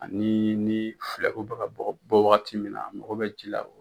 Ani ni bɛ ka bɔ bɔ wagati min na a mago bɛ ji la.